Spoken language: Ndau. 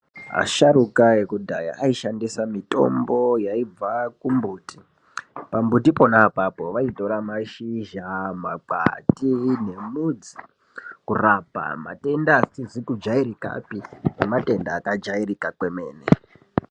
Asharuka ekudhaya aishandisa mitombo yaibva kumbuti, pambuti pona -apapo vaitora mashizha makwati nemudzi kurapa matenda akajairika nematenda akajairika kwemene.